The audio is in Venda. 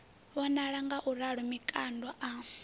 a vhonala ngauralo mikando a